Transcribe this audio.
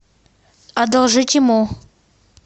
одолжить ему